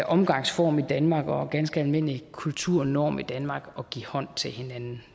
omgangsform i danmark og en ganske almindelig kulturnorm i danmark at give hånd til hinanden